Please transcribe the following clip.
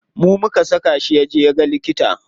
Mu muka saka shi yaje yaga likita.